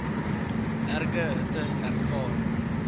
erge hitte ervaar